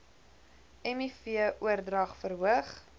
miv oordrag verhoog